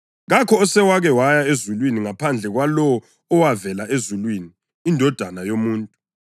Kakho osewake waya ezulwini ngaphandle kwalowo owavela ezulwini, iNdodana yoMuntu.